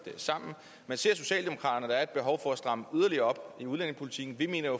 sammen men ser socialdemokraterne er et behov for at stramme yderligere op i udlændingepolitikken vi mener jo